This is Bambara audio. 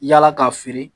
Yala k'a feere